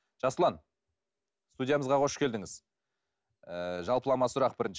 жасұлан студиямызға қош келдіңіз ыыы жалпылама сұрақ бірінші